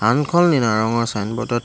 আনখন নীলা ৰঙৰ চাইন বোতত ।